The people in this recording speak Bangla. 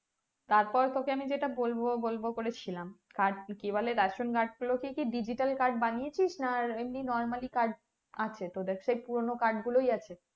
তারপর তোকে আমি যেটা বলবো বলবো করেছিলাম card কে কি বলে ration card গুলোকে কি digital card বানিয়েছিস না এমনি normally card আছে তোদের সেই পুরোনো card আছে